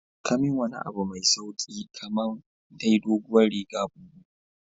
Kamin wani abu mai sauki kamai dai dogowar riga bubu.